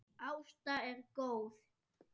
Ásta er góð.